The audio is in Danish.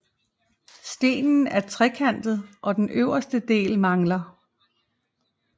Stenen er trekantet og den øverste del mangler